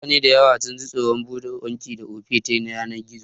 Mutane dayawa sunji tsoron buɗe banki da Ofe ta yanar gizo